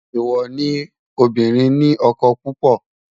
èwo ní obirin ní ókó púpò